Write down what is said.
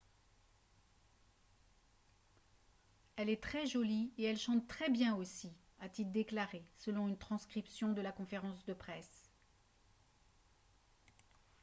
« elle est très jolie et elle chante très bien aussi » a-t-il déclaré selon une transcription de la conférence de presse